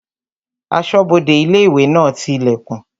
Asọ́bodè ilé-ìwé náà ti ilẹ̀kùn